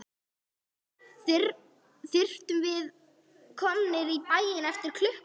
Þyrftum að vera komnir í bæinn eftir klukkutíma.